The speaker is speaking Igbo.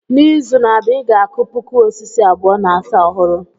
N'izu na-abịa, I ga-akụ puku osisi abụọ na asaa ọhụrụ.